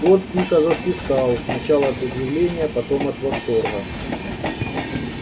скотт тихо засвистал сначала от удивления потом от восторга